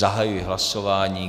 Zahajuji hlasování.